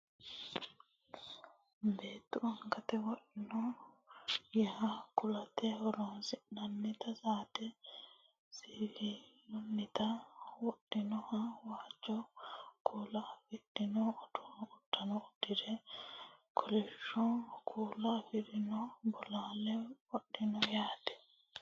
beettu angate wodhinota yanna kulate horonsi'nannita saate siwiilunnita wodhinoho waajjo kuula afidhino uddano uddire kolishsho kuula afidhino bolaale qodhinoho yaate